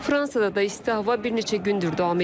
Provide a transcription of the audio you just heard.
Fransada da isti hava bir neçə gündür davam edir.